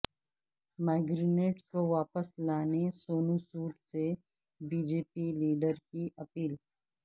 migrants کو واپس لانے سونو سود سے بی جے پی لیڈر کی اپیل